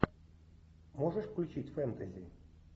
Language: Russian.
можешь включить фэнтези